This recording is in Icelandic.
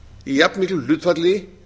í jafnmiklu hlutfalli